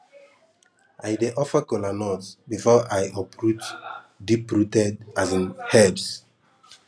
i dey offer kola nut before i uproot deeprooted um herbs